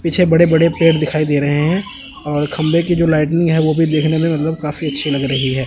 पीछे बड़े बड़े पेड़ दिखाई दे रहे हैं और खंबे की जो लाइटनिंग है वो भी देखने में मतलब काफी अच्छी लग रही है।